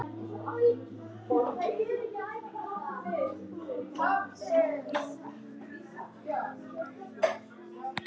Ætt hans er ekki þekkt.